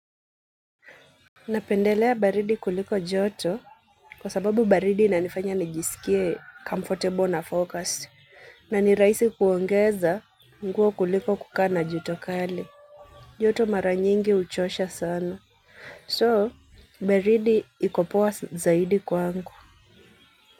Napendelea baridi kuliko joto kwa sababu baridi inanifanya nijisikie comfortable na focused, na ni rahisi kuongeza nguo kuliko kukaa na jua kali. Joto mara nyingi huchosha sana. So, baridi iko poa zaidi kwangu.